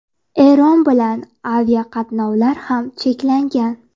Eron bilan aviaqatnovlar ham cheklangan.